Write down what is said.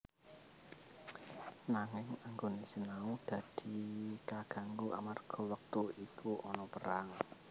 Nanging anggone sinau dadi kaganggu amarga wektu iku ana perang